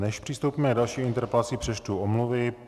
Než přistoupíme na další interpelaci, přečtu omluvy.